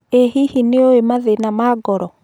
ĩ hihi nĩũi mathĩna ma ngoro?